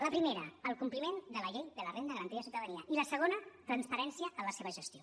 la primera el compliment de la llei de la renda garantida de ciutadania i la segona transparència en la seva gestió